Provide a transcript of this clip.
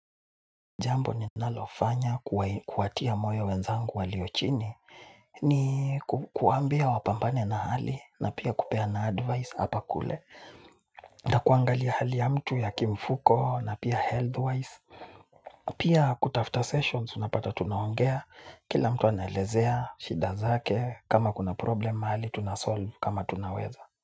Jambo ninalofanya kuwatia moyo wenzangu walio chini ni kuwaambia wapambane na hali na pia kupeana advice hapa na kule nakuangalia hali ya mtu kimfuko na pia health wise. Pia kutafuta sessions unapata tunaongea kila mtu anaelezea shida zake kama kuna problem mahali tunasolve kama tunaweza.